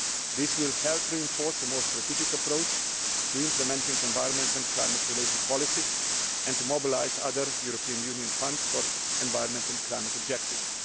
This will help reinforce a more strategic approach to implementing environment and climate related policies and will mobilise other EU funds for environmental and climate objectives.